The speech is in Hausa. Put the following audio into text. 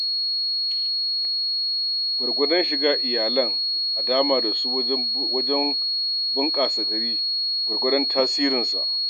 Gwargwadon shigar iyalan a dama da shi wajen bunƙasar gari, gwargwadon tasirinsa.